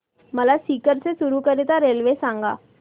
मला सीकर ते चुरु करीता रेल्वे सांगा